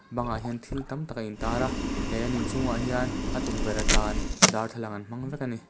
bangah hian thil tam tak a intar a he an in chhungah hian a tukverh atan darthlalang an hmang vek a ni. l